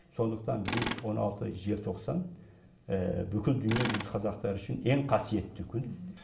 сондықтан біз он алты желтоқсан бүкіл дүниежүзі қазақтары үшін ең қасиетті күн